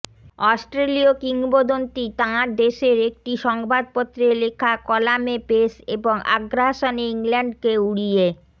অস্ট্রেলীয় কিংবদন্তি তাঁর দেশের একটি সংবাদপত্রে লেখা কলামে পেস এবং আগ্রাসনে ইংল্যান্ডকে উড়িয়ে